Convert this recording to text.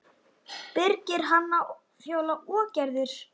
Birgir, Hanna, Fjóla og Gerður.